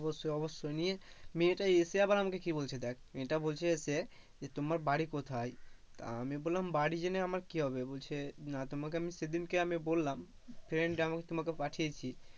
অবশ্যই অবশ্যই নিয়ে মেয়েটা এসে আবার আমাকে কি বলছে দেখ মেয়েটা বলছে এসে যে তোমার বাড়ি কোথায়? আমি বললাম বাড়ি জেনে আমার কি হবে বলছে না তোমাকে আমি সেদিনকে বললাম friend আমি তোমাকে পাঠিয়েছি,